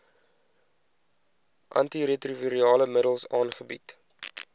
antiretrovirale middels aangebied